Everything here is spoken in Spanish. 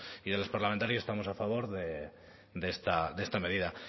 y de los parlamentarios estamos a favor de esta medida